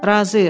Razıyıq.